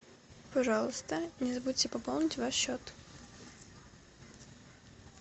пожалуйста не забудьте пополнить ваш счет